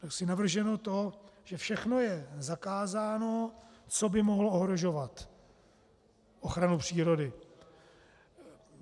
Tam je navrženo to, že všechno je zakázáno, co by mohlo ohrožovat ochranu přírody.